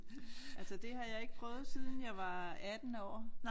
Altså det har jeg ikke prøvet siden jeg var 18 år